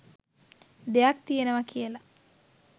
දෙයක් තියෙනවා කියලා.